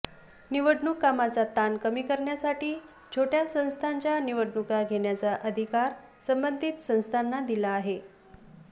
निवडणूक कामाचा ताण कमी करण्यासाठी छोटय़ा संस्थांच्या निवडणुका घेण्याचा अधिकार संबंधित संस्थांना दिला आहे